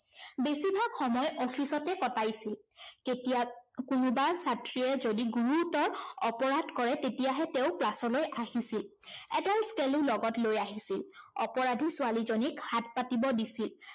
বেছি ভাগ সময় office তে কটাইছিল। কোনোবা ছাত্ৰীয়ে যদি গুৰুতৰ অপৰাধ কৰে তেতিয়াহে তেওঁ class লৈ আহিছিল। এডাল scale ও লগত লৈ আহিছিল। অপৰাধী ছোৱালীজনীক হাত পাতিব দিছিল।